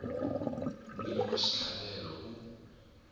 n wini wa xitlhavelo u